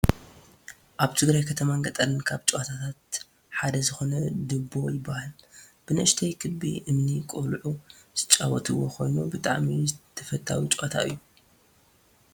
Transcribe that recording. ኣብ ትግራይ ከተማን ገጠርን ካብ ጨወታታት ሓደ ዝኮነ ድቦ ይባሃል። ብንእሽተይ ክቢ እምኒ ቆሉዑ ዝጫወትዎ ኮይኑ ብጣዕሚ ተፈታዊ ጨወታ እዩ።